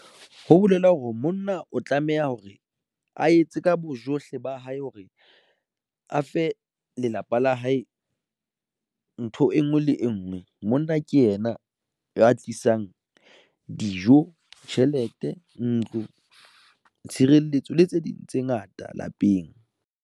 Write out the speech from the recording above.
Ho bolela hore monna o tlameha hore a etse ka bojohle ba hae, hore a fe lelapa la hae ntho e nngwe le e e ngwe monna mong ke yena ya tlisang dijo, tjhelete, ntlo, tshireletso le tse ding tse ngata lapeng.